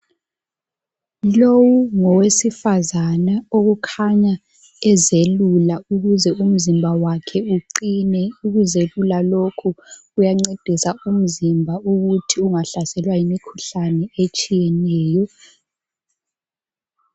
Lowu ngowesifazana okukhanya ezelula ukuze umzimba wakhe uqine. Ukuzelula lokhu kuyancedisa umzimba ukuthi ungahlaselwa yimikhuhlane etshiyeneyo.